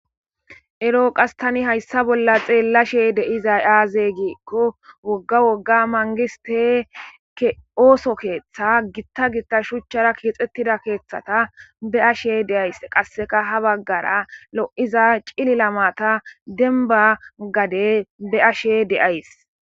Ero ta qssi hayisa bolla xelashe di'izay aze gikko woga woga mangiste keththata shuchchara kexxetidaget xelashe de'ayiis. Qassikka ha baggara lo'iza ciilila matta dembba gadde de'ashe be'ashe de'ayiis.